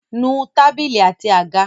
Nu tábìlì àti àga!